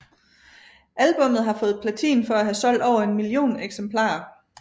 Albummet har fået platin for at have solgt over en million eksemplarer